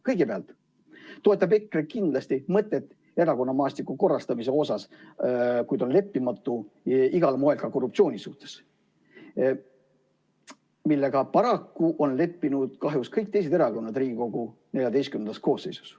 Kõigepealt, EKRE toetab kindlasti erakonnamaastiku korrastamise mõtet ja on leppimatu igal moel ka korruptsiooni suhtes, millega paraku on leppinud kahjuks kõik teised erakonnad Riigikogu XIV koosseisus.